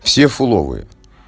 все фуловые